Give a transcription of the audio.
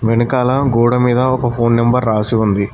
వెనకాల గోడమీద ఒక ఫోన్ నెంబర్ రాసి ఉంది.